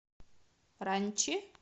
ранчи